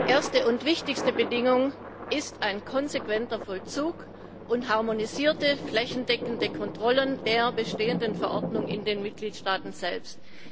Erste und wichtigste Bedingung sind ein konsequenter Vollzug und harmonisierte flächendeckende Kontrollen der bestehenden Verordnung in den Mitgliedstaaten selbst.